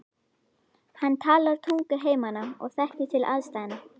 Hann talar tungu heimamanna og þekkir til aðstæðna.